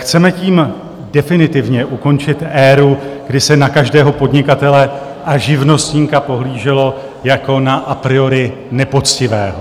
Chceme tím definitivně ukončit éru, kdy se na každého podnikatele a živnostníka pohlíželo jako na a priori nepoctivého.